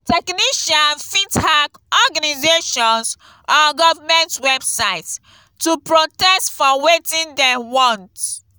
technician fit hack organisations or government websites to protest for wetin dem want